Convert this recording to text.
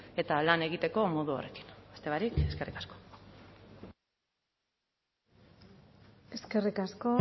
eta lan egiteko modu horrekin beste barik eskerrik asko eskerrik asko